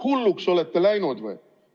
Hulluks olete läinud või?